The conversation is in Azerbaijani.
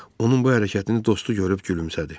Onun bu hərəkətini dostu görüb gülümsədi.